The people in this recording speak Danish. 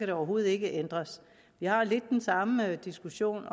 det overhovedet ikke ændres vi har lidt den samme diskussion